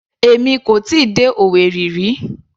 Èmi kò tíì dé Owerri rí.